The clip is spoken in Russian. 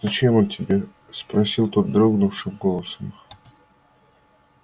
зачем он тебе спросил тот дрогнувшим голосом